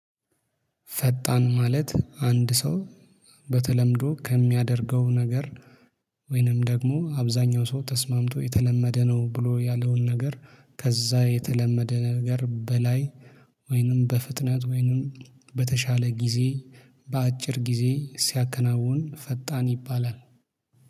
ፈጣን ማለት አንድ ሰው በተለምዶ ከሚያደርገው ነገር ወይንም ደግሞ አብዛኛው ሰው ተስማምቶ የተለመደ ነው ብሎ ያለውን ነገር ከዛ የተለመደ ነገር በላይ ወይንም በፍጥነት ወይንም በተሻለ ጊዜ በአጭር ጊዜ ሲያከናውን ፈጣን ይባላል